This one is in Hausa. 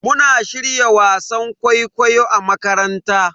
Muna shirya wasan kwaikwayo a makaranta.